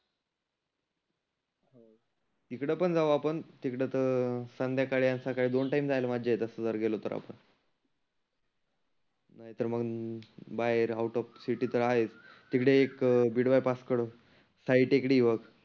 इकड पण जाऊ आपण तिकड तर संध्याकाळी सकाळी दोन टाईम जायला मजा येत जर गोलो तर आपण. नाहीतर मग बाहेर आऊट ऑफ सिटी तर आहेच. तीकडे एक बिड बायपासकडं साई टेकडी आहे बघ.